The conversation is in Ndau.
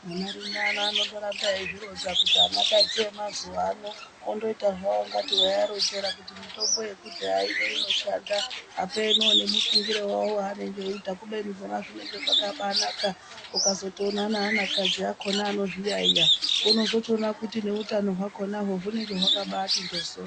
Vanarume ano anotoramba eyizvironza kuti anakadzi emazuwa ano ondoita zvawo kuti weyiwaronzera kuti mitombo yekudhaya ino inoshanda apenoo nemufungiro wawo waanenge eyibaita. Kubeni zvona zvinenge zvakabanaka nukazotoona neanakadzi akona anozviyayiya unozotoona kuti noutano hwakona uwo hunenge wakabaiti njoso.